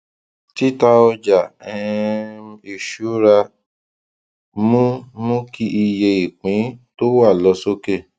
tita ọjà um ìṣúra mú mú kí iye ìpín tó wà lọ sókè